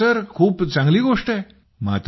हो सर खूप चांगली गोष्ट आहे